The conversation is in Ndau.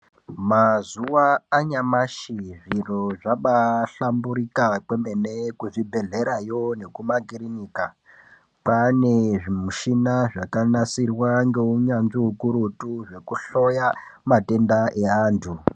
Mazuwa anyamashi zviro zvabahlamburika kwemene kuzvibhedhlerayo nekumakirinika, kwane zvimushina zvakanasirwa ngeunyanzvi ukurutu zvekuhloya matenda eantu.